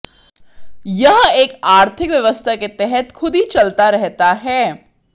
यह एक आर्थिक व्यवस्था के तहत खुद ही चलता रहता है